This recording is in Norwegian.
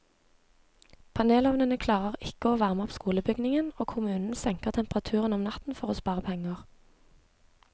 Panelovnene klarer ikke å varme opp skolebygningen, og kommunen senker temperaturen om natten for å spare penger.